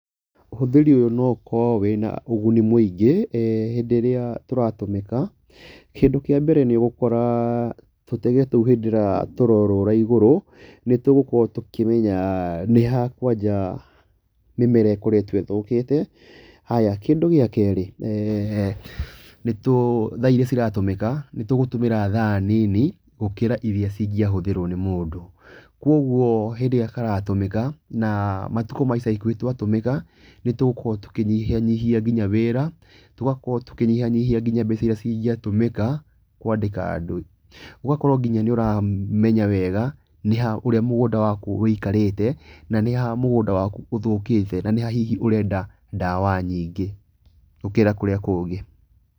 Ũhũthĩri ũyũ no ũkorwo wĩna ũguni mũingĩ hĩndĩ ĩrĩa tũratũmĩka, kĩndũ kĩa mbere nĩ ũgũkora tũtege tũu hĩndĩ ĩrĩa tũrorũra igũrũ, nĩ tũgũkorwo tũkĩmenya nĩ ha kwanja mĩmera ĩkoretwo ĩthũkĩte. Haya, kĩndũ gĩa kerĩ thaa iria ciratũmĩka, nĩ tũgũtũmĩra thaa nini gũkĩra iria ingĩahũthĩrwo nĩ mũndũ. Koguo hĩndĩ ĩrĩa karatũmĩka na matukũ ma ica ikuhĩ twatũmĩka nĩ tũgũkorwo tũkĩnyihanyihia nginya wĩra, tũgakorwo tũkinyhanyihia nginya mbeca iria ingĩatũmĩka kwandĩka andũ. Ũgakorwo nginya nĩ ũramenya wega nĩ ha, ũrĩa mũgũnda waku wũikarĩte na nĩ ha mũgũnda waku ũthũkĩte, na nĩ ha hihi ũrenda ndawa nyingĩ gũkĩra kũrĩa kũngĩ.